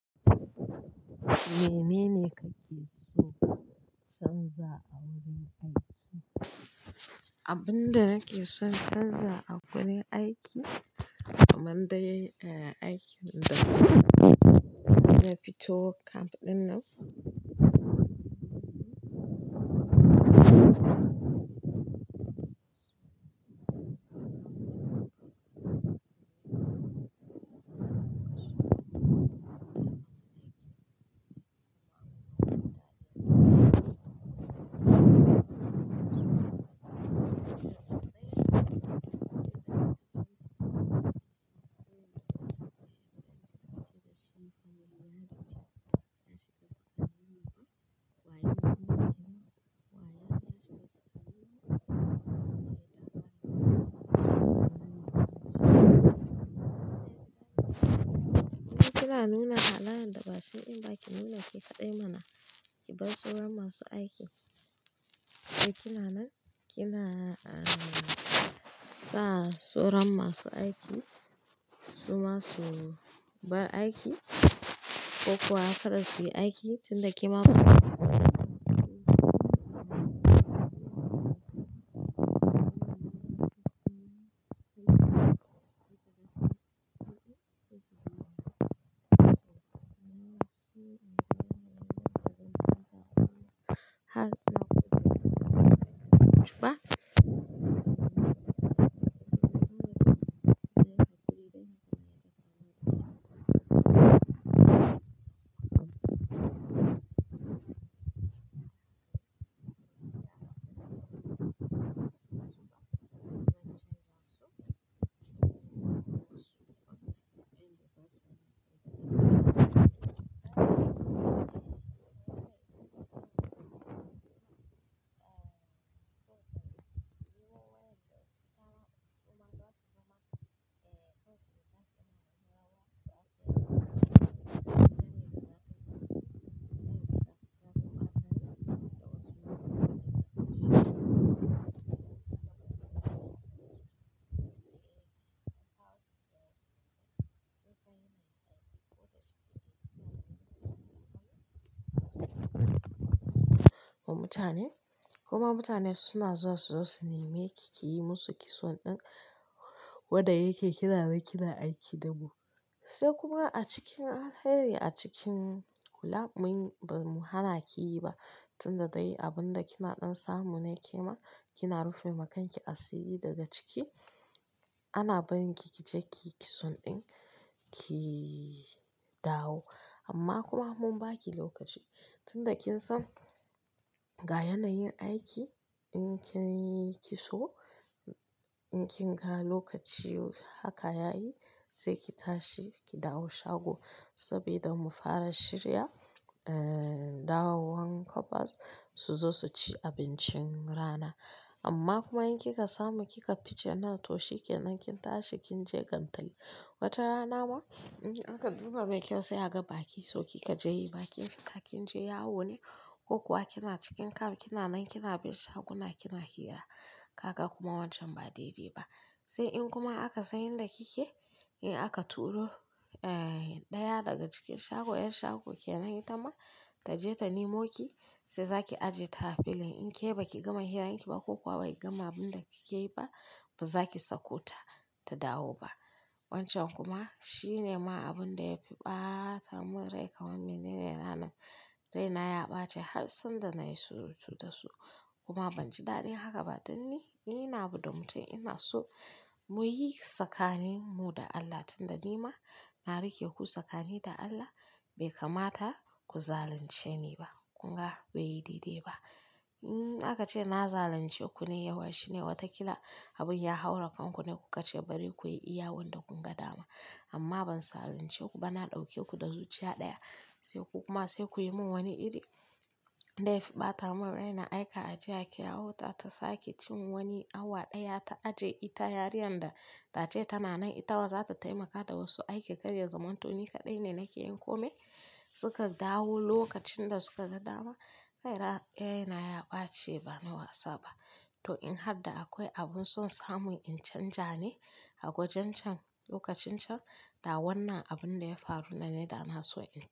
Menene kake so canza a wurin aiki? Abin da nake son canza a wurin aiki, kamanda aikin da na fito camp ɗin nan. Ina zama da su wadabbna mutanen abun nan yazko dashi bnasan ko ya ayake nufi ba amma kuma abinda take fada babu lakara kowara kwata sai hayaniya ta banza da ta wofi. Kina nuna halayen da ba shiɗin ba ki nuna ke kaɗai mana, ki bar tsoron masu aiki. Da kina nan kina sa tsoron masu aiki, su ma su bar aiki ko kuwa kada su yi aiki tun da kima. Ya zo yace shima zaiyi abarsu ya wuce wannan ba hainci bane tana magana da sauri nikuma gaskiya ban iya ntsllake wannan saboda akwai mintuna da yawa yanzu haka waka nidai maraya ne a tai akani kuma mutane suna zuwa su zo su neme ki, ki yi musu kitson ɗin wanda yake kina nan kina aiki dabu. Sai kuma a cikin hari a cikin kula mun ba mu hana ki yi ba tun da dai abin da kinaɗan samu ne ke ma, kina rufe makanki asiri daga ciki. Ana barin ki ki je ki kitson ɗin ki dawo amma kuma mun baki lokaci. Tun da kin san ga yanayin aiki in kin yi kitso, in kin ga lokaci haka yayi zai ki tashi ki dawo shago saboda mu fara shirya, eh, dawowan kwabas su zo su ci abincin rana. Amma kuma in ki ka samu ki ka fice anna to she kenan kin tashi kin je kantin. Wata rana ma in aka duba bai kyau sai aka baki sau ki ka je yi bakin ka kin je yawo ne ko kuwa kina cikin camp kina nan kina bin shaguna kina hira. Kaka kuma wancan ba daidai ba. Sai in kuma aka san yanda kike, eh aka turo, eh, ɗaya daga cikin shagon 'yan shago kenan yi ta ma ta je ta nemo ki sai za ki ajiye ta filin. In ke baki gama hiranki ba ko kuma baki gama abinda kikeyi ba bazaki sako ta tadawo ba wancan kuma shine ma abin da ya fi ɓata mun rai kamar me ne ne ranar raina ya ɓace har sanda na yi surutu da su. Kuma ban ji daɗin haka ba tun ni, ni na buɗe mutum ina so muyi tsakanin mu da Allah tun da ni ma na rike ku tsakanin da Allah bai kamata ku zalunce ni ba. Kun ga bai yi daidai ba. In aka ce na zalunce ku ne yawa shine wata kila abin ya haura kanku ne kuka ce bari ku yi iya wanda kun ga dama. Amma ban zalunce ku ba na ɗauke ku da zuciya ɗaya. Sai ku kuma sai ku yi mun wani iri da ya fi ɓata mun rai na aika. Ajiya ke yawo ta ta sake cin wani awa ɗaya ta aje ita yarinya da ta ce tana nan ita wa za ta taimaka da wasu aiki karye zaman to ni kaɗai ne nake yin kome. Suka dawo lokacin da suka ga dama. Raira, raina ya ɓace ba ni wasa ba. To in har da akwai abun son samun in canja ne a gojen can lokacin can, dawannan abun da ya faru nan ne da na so in canja.